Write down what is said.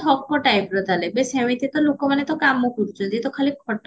ଠକ typeର ତାହେଲେ ଏବେ ସେମିତି ତ ଲୋକ ମାନେ ତ କାମ କରୁଚନ୍ତି ଇଏ ତ ଖାଲି